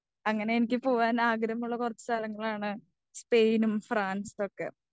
അങ്ങനെ എനിക്ക് പോകുവാൻ ആഗ്രഹമുള്ള കുറച്ചു സ്ഥലങ്ങളാണ് സ്പെയിനും ഫ്രാൻസൊക്കെ.